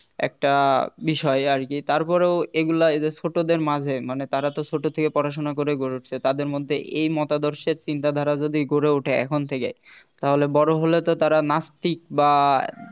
একটা বিষয় আর কি তার পরেও এগুলা এদের ছোটদের মাঝে মানে তারা তো ছোট থেকে পড়াশোনা করে গড়ে উঠছে তাদের মধ্যে এই মতাদর্শের চিন্তাধারা যদি গড়ে ওঠে এখন থেকে তাহলে বড় হলে তো তারা নাস্তিক বা